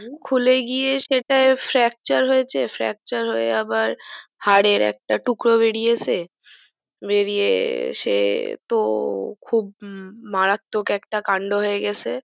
খুলেগিয়ে সেটাই fracture হয়ে আবার হারের একটা টুকরো বেরিয়েছে বেরিয়ে সে তো খুব মারাত্মক একটা কান্ড হয়েছে।